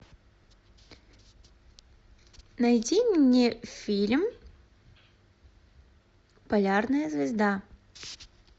найди мне фильм полярная звезда